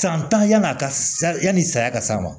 San tan yann'a ka sa yani saya ka s'a ma